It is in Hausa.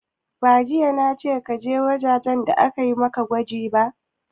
Ba jiya na ce ka je ɗakin gwaje gwaje a maka gwaji ba!